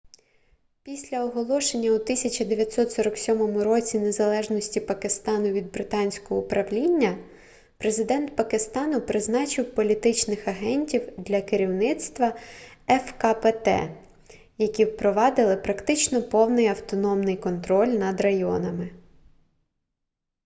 після оголошення у 1947 році незалежності пакистану від британского управління президент пакистану призначив політичних агентів для керівництва фкпт які впровадили практично повний автономний контроль над районами